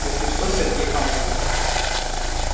если что сергей поможет